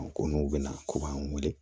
Ko n'u bɛna ko b'an wele